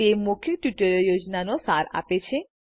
તે મૌખિક ટ્યુટોરીઅલ યોજનાનો સાર આપે છે